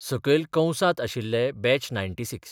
सकयल कंसांत आशिल्ले बॅच 96.